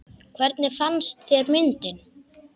Hvernig fannst þér myndin?